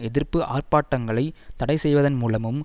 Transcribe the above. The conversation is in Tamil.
எதிர்ப்பு ஆர்ப்பாட்டங்களை தடை செய்வதன் மூலமும்